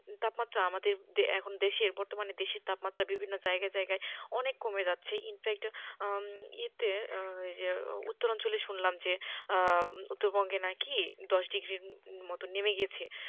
তাপমাত্রা আমাদের এখন দেশের বর্তমানে দেশের তাপমাত্রা বিভিন্ন জায়গায় জায়গায় অনেক কমে যাচ্ছে। infact এতে উত্তরাঞ্চলে শুনলাম যে উত্তরবঙ্গে নাকি দশ ডিগ্রীর মতো নেমে গেছে।